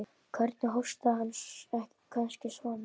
Hvernig hóstaði hann. kannski svona?